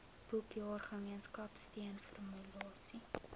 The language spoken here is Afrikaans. boekjaar gemeenskapsteun formaliseer